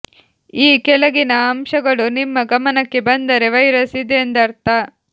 ಈ ಕೆಳಗಿನ ಅಂಶಗಳು ನಿಮ್ಮ ಗಮನಕ್ಕೆ ಬಂದರೆ ವೈರಸ್ ಇದೆ ಎಂದರ್ಥ